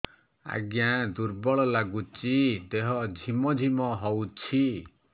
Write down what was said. ଆଜ୍ଞା ଦୁର୍ବଳ ଲାଗୁଚି ଦେହ ଝିମଝିମ ହଉଛି